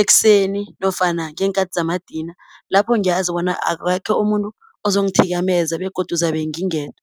ekuseni, nofana ngeenkhathi zamadina. Lapho ngiyazi bona akekho umuntu ozongithikameza begodu ngizabe ngingedwa.